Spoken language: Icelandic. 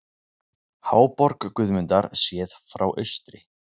Háborg Guðmundar séð frá austri.